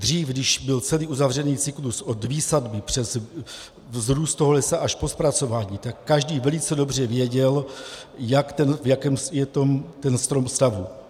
Dřív, když byl celý uzavřený cyklus od výsadby přes vzrůst toho lesa až po zpracování, tak každý velice dobře věděl, v jakém je ten strom stavu.